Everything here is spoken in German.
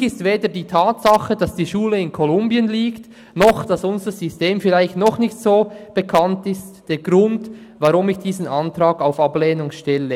Natürlich ist weder die Tatsache, dass die Schule in Kolumbien liegt, noch, dass unser System vielleicht noch nicht so bekannt ist, der Grund, weshalb ich diesen Antrag auf Ablehnung stelle.